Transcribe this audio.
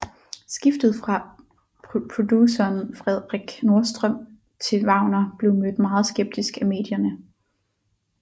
Skiftet fra produceren Fredrik Nordström til Wagener blev mødt meget skeptisk af medierne